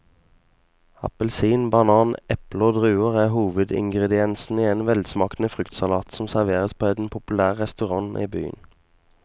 Appelsin, banan, eple og druer er hovedingredienser i en velsmakende fruktsalat som serveres på en populær restaurant i byen.